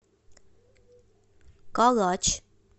калач